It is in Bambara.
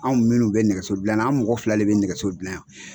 Anw minnu bɛ nɛgɛso dilanan , anw mɔgɔ fila le bɛ nɛgɛso dilanna yan.